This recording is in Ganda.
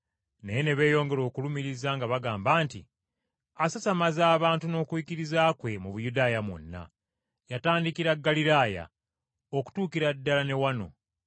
Naye ne beeyongera okulumiriza nga bagamba nti, “Asasamazza abantu n’okuyigiriza kwe mu Buyudaaya mwonna. Yatandikira Ggaliraaya okutuukira ddala ne wano!”